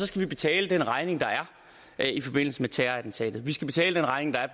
skal betale den regning der er i forbindelse med terrorattentatet vi skal betale den regning der er